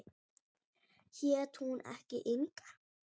Hét hún ekki Inga?